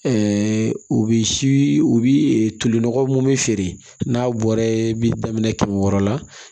u bɛ si u bi ɛ tolinɔgɔ mun be feere n'a bɔra bi daminɛ kɛmɛ wɔɔrɔ la